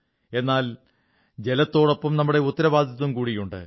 എന്നാൽ ജലത്തോടൊപ്പം നമ്മുടെ ഉത്തരവാദിത്തം കൂടിയുണ്ട്